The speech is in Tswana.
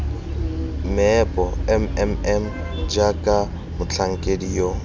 meepo mmm jaaka motlhankedi yo